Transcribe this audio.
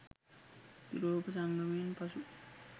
යුරෝපා සංගමයෙන් පසු